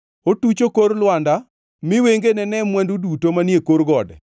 Otucho kor lwanda; mi wengene ne mwandu duto manie kor gode.